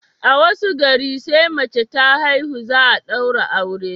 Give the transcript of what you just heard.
a wasu garin sai mace ta haihu, za a daura aure